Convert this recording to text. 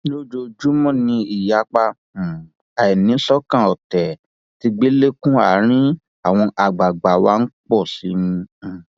lójoojúmọ ni ìyapa um àìníṣọkan ọtẹ tẹgbẹlẹkun àárín àwọn àgbààgbà wá ń pọ um sí i